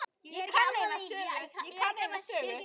Ég kann eina sögu.